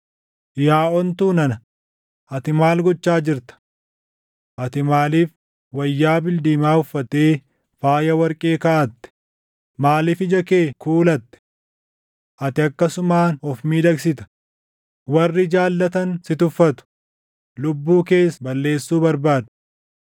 Yaa ontuu nana, ati maal gochaa jirta? Ati maaliif wayyaa bildiimaa uffattee faaya warqee kaaʼatte? Maaliif ija kee kuulatte? Ati akkasumaan of miidhagsita. Warri jaallatan si tuffatu; lubbuu kees balleessuu barbaadu.